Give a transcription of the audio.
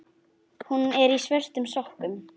Hún er í svörtum sokkum.